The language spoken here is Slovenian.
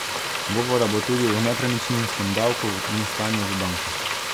Govora bo tudi o nepremičninskem davku in stanju v bankah.